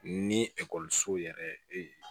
Ni ekɔlisow yɛrɛ ee